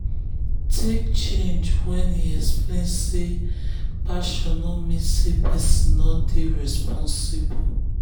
talk change when e explain say passion no mean say person no dey responsible.